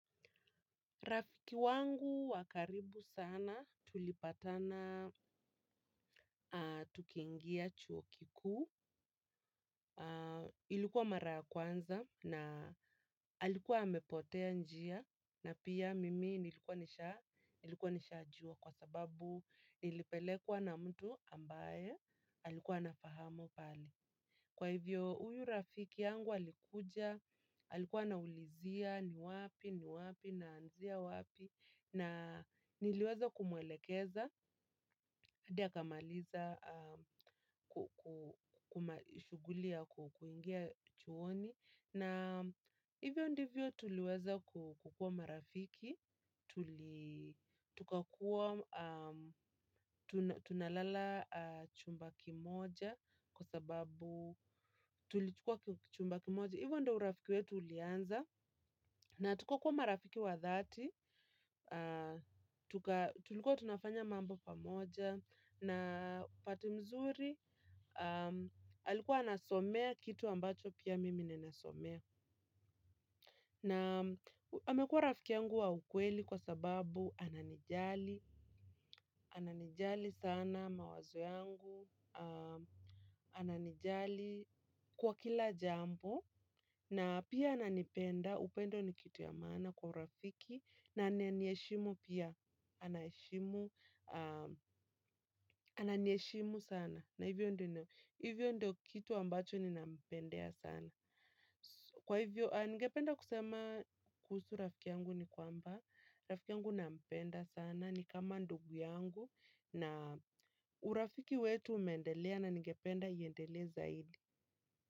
Rafiki wangu wakaribu sana tulipatana tukiingia chuo kikuu. Ilikuwa mara ya kwanza na alikuwa amepotea njia na pia mimi nilikuwa nishajua kwa sababu nilipelekwa na mtu ambaye alikuwa anafahamu pahali. Kwa hivyo, huyu rafiki yangu alikuja, alikuwa anaulizia, ni wapi, ni wapi, naanzia wapi, na niliweza kumwelekeza, hadi akamaliza shughuli ya kuingia chuoni. Na hivyo ndivyo tuliweza kukuwa marafiki, tukakuwa tunalala chumba kimoja kwa sababu tulichukua chumba kimoja. Hivyo ndo urafiki wetu ulianza na tukakuwa marafiki wa dhati, tulikuwa tunafanya mambo pamoja na pato mzuri alikuwa anasomea kitu ambacho pia mimi ninasomea. Na amekuwa rafiki yangu wa ukweli kwa sababu ananijali, ananijali sana mawazo yangu, ananijali kwa kila jambo, na pia ananipenda, upendo ni kitu ya maana kwa urafiki, na ananiheshimu pia, ananiheshimu sana. Na hivyo ndo kitu ambacho ninampendea sana. Kwa hivyo, ningependa kusema kuhusu rafiki yangu ni kwamba. Rafiki yangu nampenda sana ni kama ndugu yangu. Na urafiki wetu umeendelea na ningependa iendele zaidi.